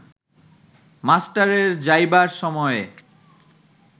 মাস্টারের যাইবার সময়ে